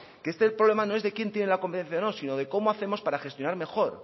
que este problema no es de quién tiene la competencia o no sino de cómo hacemos para gestionar mejor